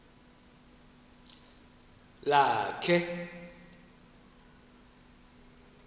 lakhe